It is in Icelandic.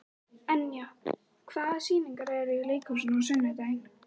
Enja, hvaða sýningar eru í leikhúsinu á sunnudaginn?